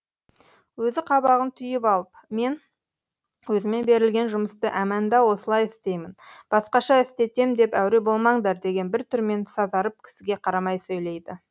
өзі қабағын түйіп алып мен өзіме берілген жұмысты әмәнда осылай істеймін басқаша істетем деп әуре болмаңдар деген бір түрмен сазарып кісіге қарамай сөйлейді